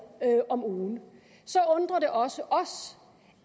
om ugen så undrer det også os